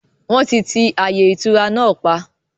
Wọn tí ti ààyè ìtura náà pa